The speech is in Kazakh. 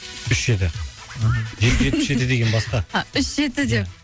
үш жеті аха жеті жүз жетпіс жеті деген басқа а үш жеті деп